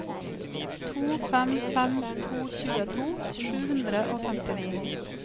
to fem fem to tjueto sju hundre og femtini